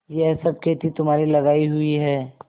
यह सब खेती तुम्हारी लगायी हुई है